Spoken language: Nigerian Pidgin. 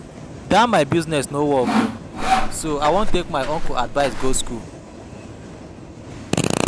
Dat my new business no work so I wan take my uncle advice go school